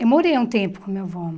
Eu morei um tempo com o meu avô.